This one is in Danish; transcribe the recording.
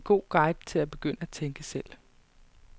Det er en god guide til at begynde at tænke selv.